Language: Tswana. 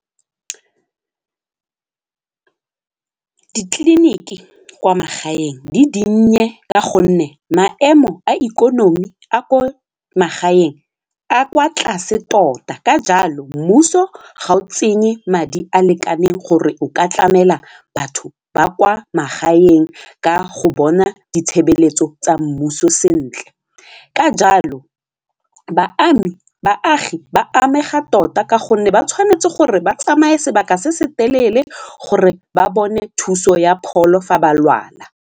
Ditleliniki kwa magaeng di dinnye ka gonne maemo a ikonomi a ko magaeng a kwa tlase tota ka jalo mmuso ga o tsenye madi a lekaneng gore o ka tlamela batho ba kwa magaeng ka go bona ditshebeletso tsa mmuso sentle ka jalo batlhami baagi ba amega tota ka gonne ba tshwanetse gore ba tsamaye sebaka se se telele gore ba bone thuso ya pholo fa ba lwala.